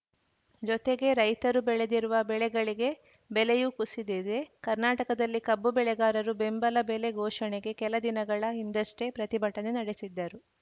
ಜೊತೆಗೆ ರೈತರು ಬೆಳೆದಿರುವ ಬೆಳೆಗಳಿಗೆ ಬೆಲೆಯೂ ಕುಸಿದಿದೆ ಕರ್ನಾಟಕದಲ್ಲಿ ಕಬ್ಬು ಬೆಳೆಗಾರರು ಬೆಂಬಲ ಬೆಲೆ ಘೋಷಣೆಗೆ ಕೆಲ ದಿನಗಳ ಹಿಂದಷ್ಟೇ ಪ್ರತಿಭಟನೆ ನಡೆಸಿದ್ದರು